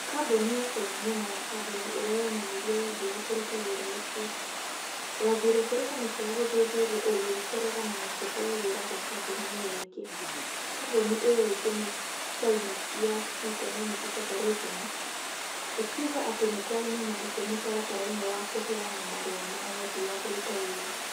kambuni ya caina nĩ ĩmwe ya kambuni ĩria yoonanirie wendi wa kũruta wĩra ũcio. Yathire kũrĩ kamĩtĩ ya gũthuthuria ũgũri kũregana na kũheo wĩra gwa kambuni ĩyo ĩngi. Kambuni ĩyo ĩngi nĩ China Jiangxi Economic Cooperation. ĩkiuga atĩ nĩ kwarĩ na mahĩtia mũtaratara-inĩ wa kũheana marũa ma wendi wa kũruta wĩra.